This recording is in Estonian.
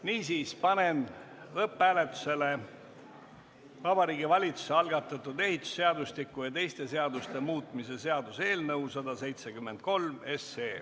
Niisiis, panen lõpphääletusele Vabariigi Valitsuse algatatud ehitusseadustiku ja teiste seaduste muutmise seaduse eelnõu 173.